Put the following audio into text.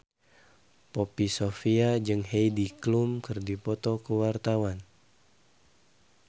Poppy Sovia jeung Heidi Klum keur dipoto ku wartawan